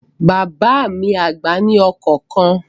Bàbá mi àgbà ní ọkọ̀ kan